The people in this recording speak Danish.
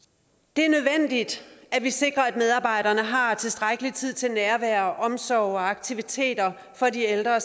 det er nødvendigt at vi sikrer at medarbejderne har tilstrækkelig tid til nærvær omsorg og aktiviteter for de ældre